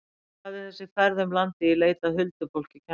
Hvað hefur þessi ferð um landið í leit að huldufólki kennt mér?